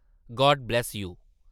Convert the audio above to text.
God bless you.